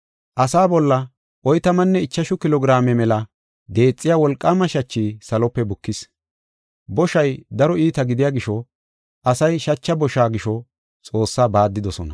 Asaa bolla oytamanne ichashu kilo giraame mela deexiya wolqaama shachi salope bukis. Boshay daro iita gidiya gisho asay shacha bosha gisho Xoossaa baaddidosona.